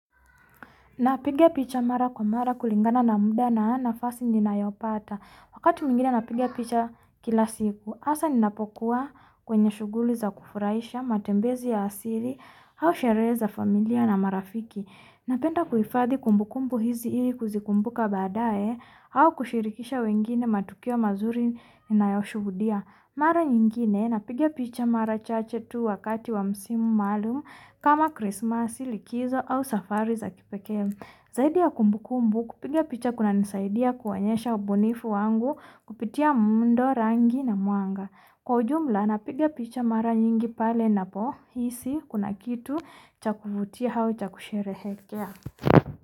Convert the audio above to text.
Na piga picha mara kwa mara kulingana na muda na nafasi ninayopata, wakati mwingine napigia picha kila siku hasa ninapokua kwenye shughuli za kufurahisha, matembezi ya asili, au sherehe za familia na marafiki. Na penda kuhifadi kumbukumbu hizi ili kuzikumbuka baadae au kushirikisha wengine matukio mazuri na yayoshuhudia. Na penda kuhifadi kumbukumbu kuhifadi na mungu yaosubudia na kufurahisha, matembezi ya asili, hao shereza familia na marafiki. Na penda kuhifadi kumbukumbu kuhifadi na mungu yaoshubudia na marafiki.